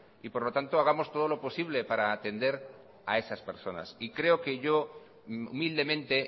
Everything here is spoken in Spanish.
y por lo tanto hagamos todo lo posible para atender a esas personas y creo que yo humildemente